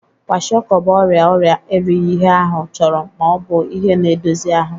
Kwashịọkọ bụ ọrịa ọrịa erighi ihe ahụ chọrọ ma ọ bụ ihe na-edosi ahụ.